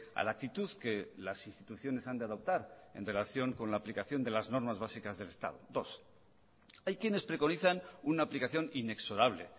a la actitud que las instituciones han de adoptar en relación con la aplicación de las normas básicas del estado hay quienes preconizan una aplicación inexorable